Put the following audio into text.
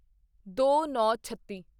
ਦੋਨੌਂਛੱਤੀ